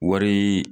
Wari